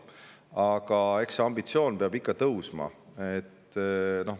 Aga eks see ambitsioon peab ikka veel tõusma.